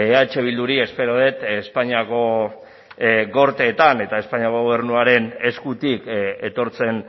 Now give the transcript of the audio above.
eh bilduri espero dut espainiako gorteetan eta espainiako gobernuaren eskutik etortzen